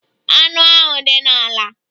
Anụ ahụ dị n'ala.